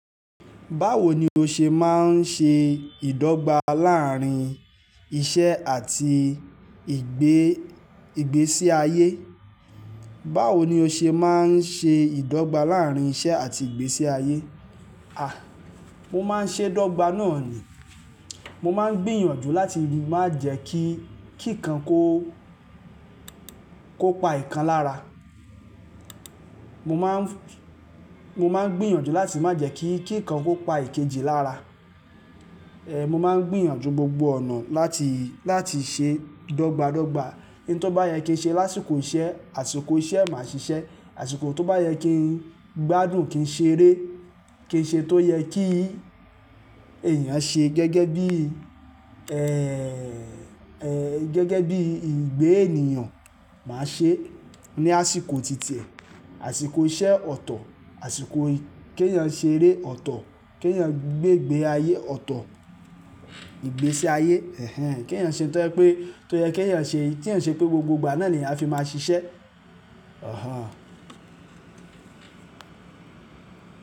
Báwo ni o ṣe máa ń ṣe ìdọ́gba láàárín iṣẹ́ àti ìgbésí ayé? Báwo ni o ṣe máa ń ṣe ìdọ́gba láàárín iṣẹ́ àti ìgbésí ayé? A! Mo má ń ṣé dọ́gba náà ni. Mo má ń gbìyànjú láti má jẹ́ kí kíkan kó kó pa ìkan lára. Mo má ń gbìyànjú láti má jẹ́ kí kan kó pa ìkejì lára. Mo máa ń gbìyànjú gbogbo ọ̀nà láti, láti ṣe dọ́gba dọ́gba. Ohun tó bá yẹ kí n ṣe lásìkò iṣẹ́, àsìkò iṣẹ́ màá ṣiṣẹ́. Àsìkò tó bá yẹ kí n gbádùn, kí n ṣeré, kí n ṣe tó yẹ kí èèyàn ṣe gẹ́gẹ́ bí, gẹ́gẹ́ bíi ìgbé ènìyàn, màá ṣeẹ́ ní àsìkò titi ẹ̀, àsìkò iṣẹ́ ọ̀tọ̀, àsìkò kí èèyàn ṣeré ọ̀tọ̀, kí èèyàn gbé, gbé ayé ọ̀tọ̀, ìgbésí ayé. Ehn en Kí èèyàn ṣe tó yẹ kí èèyàn ṣe, tí ìń ṣe pé gbogbo ìgbà náà lèyàn á fi máa ṣiṣẹ́. Òhán.